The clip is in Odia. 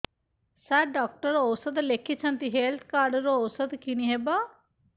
ସାର ଡକ୍ଟର ଔଷଧ ଲେଖିଛନ୍ତି ହେଲ୍ଥ କାର୍ଡ ରୁ ଔଷଧ କିଣି ହେବ